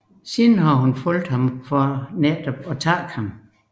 Hun har siden fulgt ham for netop at takke ham